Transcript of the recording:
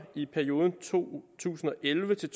i perioden to tusind og elleve til